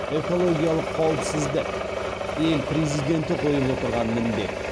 экологиялық қауіпсіздік ел президенті қойып отырған міндет